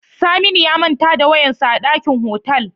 Saminu ya manta da wayarsa a dakin otal.